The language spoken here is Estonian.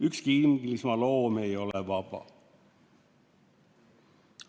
Ükski Inglismaa loom ei ole vaba.